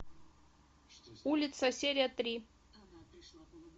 улица серия три